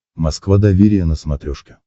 москва доверие на смотрешке